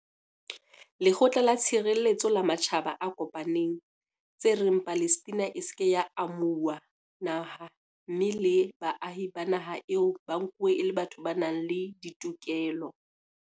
Lekgotla la Tshireletseho la Matjhaba a Kopaneng, tse reng Palestina e se ke ya amo huwa naha mme le baahi ba naha eo ba nkuwe e le batho ba nang le ditokelo.